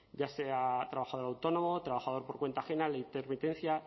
ya sea trabajador autónomo trabajador por cuenta ajena la intermitencia